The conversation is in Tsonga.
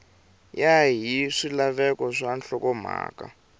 ya hi swilaveko swa nhlokomhaka